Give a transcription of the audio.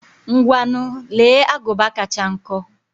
Ngwanu, lee agụba kacha nkọ.